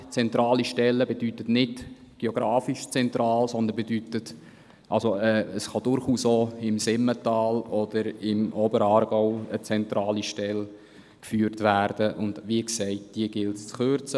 Zentrale Stelle bedeutet nicht geografisch zentral, sondern dies bedeutet, dass durchaus auch im Simmental oder im Oberaargau eine zentrale Stelle geführt werden kann, und wie gesagt, diese gilt es zu kürzen.